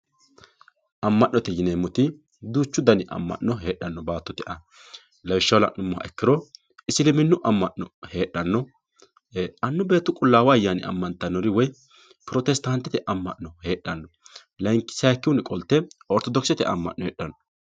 Ama'note yineemmoti duuchu dani ama'no noo baattote aana lawishshaho la'nuummoro isiliminu ama'no heedhano, annu beettu qulaawu ayyaanini ama'nittanori woyi pirositatete ama'no heedhano sayikkihunni qolte orthodokisete ama'no heedhano.